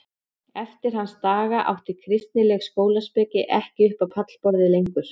Eftir hans daga átti kristileg skólaspeki ekki upp á pallborðið lengur.